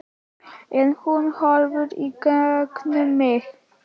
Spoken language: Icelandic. En hún horfir í gegnum mig